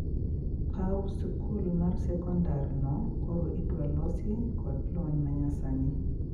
Pau skul mar sekondar no koro idwa losi kod lony manyasani